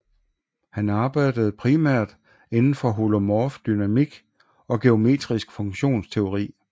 Han arbejdede primært indenfor holomorf dynamikk og geometrisk funktionsteori